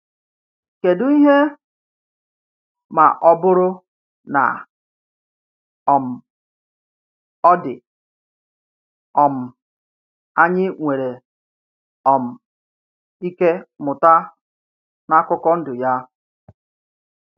Kedu ihe, ma ọ bụrụ na um ọ dị, um anyị nwere um ike mụta n’akụkọ ndụ ya?